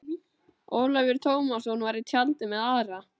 Ólafur Tómasson var í tjaldi með Ara.